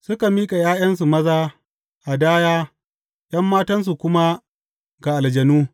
Suka miƙa ’ya’yansu maza hadaya ’yan matansu kuma ga aljanu.